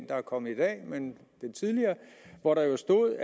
der er kommet i dag men den tidligere hvor der stod